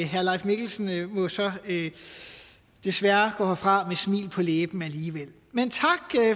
herre leif mikkelsen må så desværre gå herfra med smil på læben alligevel men tak